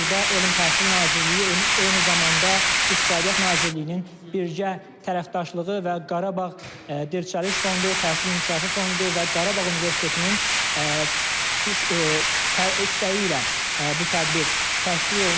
və burda Elm Təhsil Nazirliyi eyni zamanda İqtisadiyyat Nazirliyinin birgə tərəfdaşlığı və Qarabağ Dirçəliş Fondu, Təhsil İnkişafı Fondu və Qarabağ Universitetinin istəyi ilə bu tədbir təşkil olunub.